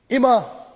aber